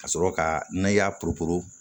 Ka sɔrɔ ka n'a y'a porobo